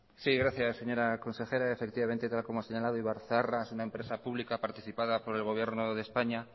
sí gracias señora consejera efectivamente como ha señalado ibarzaharra es una empresa pública participada por el gobierno de españa